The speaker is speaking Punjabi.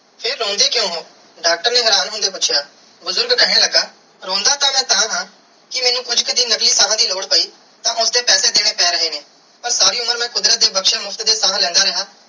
ਫਿਰ ਰੋਂਦੇ ਕ੍ਯੂਂ ਹੋ ਡਾਕਟਰ ਨੇ ਹੈਰਾਨ ਹੋਂਦੇ ਪੂਛਿਆ ਬੁਜ਼ਰਗ ਕੇਹਨ ਲਗਾ ਰੋਂਦਾ ਤੇ ਮੈਂ ਤਹਾ ਕੇ ਮੈਨੂੰ ਕੁਛ ਕਿ ਦਿਨ ਨਕਲੀ ਸਾਹ ਦੀ ਲੋੜ ਪੈ ਤੇ ਉਸਦੇ ਪੈਸੇ ਦੇਣੇ ਪੈ ਗਏ ਨੇ ਪਾਰ ਸਾਰੀ ਉਮਰ ਕੁਦਰਤ ਦੇ ਬਖਸ਼ੇ ਮੁਫ਼ਤ ਦੀਆ ਸਾਹ ਲੈਂਦਾ ਰਿਆ.